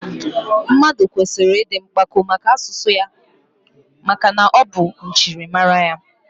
Mmadụ kwesịrị ịdị mpako maka asụsụ ya maka na ọ bụ njirimara ya